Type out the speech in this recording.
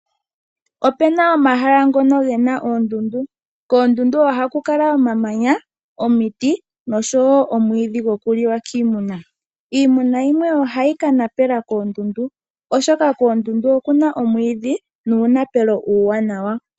Opena omahala ngono gena oondundu. Koondundu ohaku kala omamanya, omiti nosho wo omwiidhi gokuliwa kiimuna. Iimuna yimwe ohayi kanapela koondundu, oshoka koondundu okuna omwiidhi nuunapelo uuwanawa.